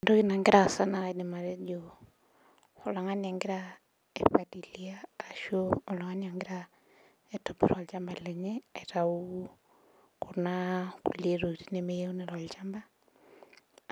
Entoki nagira aasaa na kaidim atejo oltungani ogira aipalilia ashu aitobir olchamba lenye aitau kuna kulie tokitin nemeyieuni tolchamba